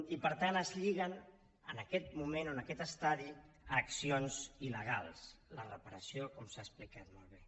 i per tant es lliga en aquest moment o en aquest estadi a accions il·legals la reparació com s’ha explicat molt bé